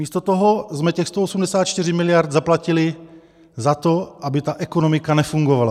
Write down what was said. Místo toho jsme těch 184 miliard zaplatili za to, aby ta ekonomika nefungovala.